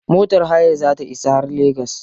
Motar hayar za ta isa har legas.